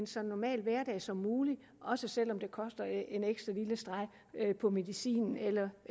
så normal som muligt også selv om det koster en ekstra lille streg på medicinen eller